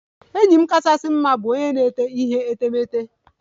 Enyi m kachasị mma bụ onye na-ete ihe etemeete.